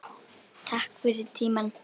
Takk fyrir tímann.